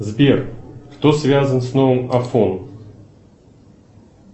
сбер кто связан с новым афон